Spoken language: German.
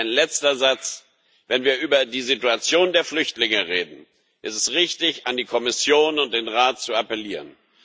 Ein letzter Satz Wenn wir über die Situation der Flüchtlinge reden, ist es richtig, an die Kommission und den Rat zu appellieren.